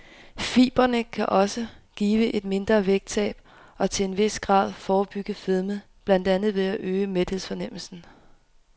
Fibrene kan også give et mindre vægttab og til en vis grad forebygge fedme, blandt andet ved at øge mæthedsfornemmelsen.